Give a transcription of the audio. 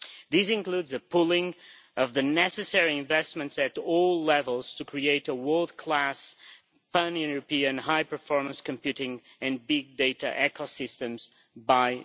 This includes a pooling of the necessary investments at all levels to create a world class pan European high performance computing and big data ecosystem by